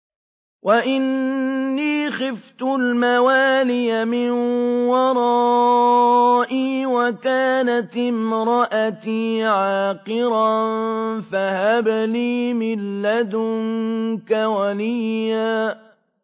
وَإِنِّي خِفْتُ الْمَوَالِيَ مِن وَرَائِي وَكَانَتِ امْرَأَتِي عَاقِرًا فَهَبْ لِي مِن لَّدُنكَ وَلِيًّا